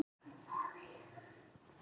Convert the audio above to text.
Það er hæsta virka eldfjall í Kólumbíu.